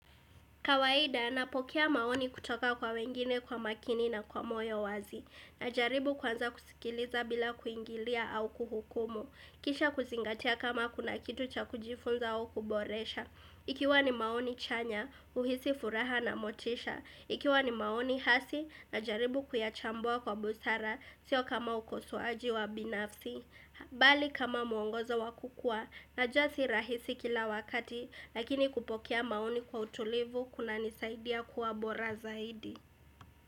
Kawaida, napokea maoni kutoka kwa wengine kwa makini na kwa moyo wazi. Najaribu kwanza kusikiliza bila kuingilia au kuhukumu. Kisha kuzingatia kama kuna kitu cha kujifunza au kuboresha. Ikiwa ni maoni chanya, uhisi furaha na motisha. Ikiwa ni maoni hasi, najaribu kuyachambua kwa busara, sio kama ukosoaji wa binafsi. Bali kama mwongozo wakukua najuasi rahisi kila wakati lakini kupokea maoni kwa utulivu kuna nisaidia kuwa bora zaidi.